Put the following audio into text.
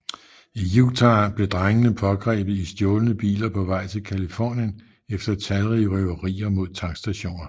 I Utah blev drengene pågrebet i stjålne biler på vej til Californien efter talrige røverier mod tankstationer